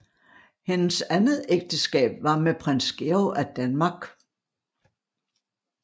Hendes andet ægteskab var med Prins Georg af Danmark